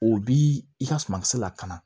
O bi i ka sumakisɛ lakana